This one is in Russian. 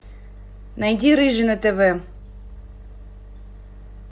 найди рыжий на тв